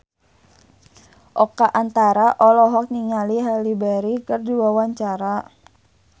Oka Antara olohok ningali Halle Berry keur diwawancara